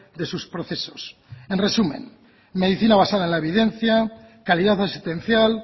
de sus procesos en resumen medicina basada en la evidencia calidad asistencial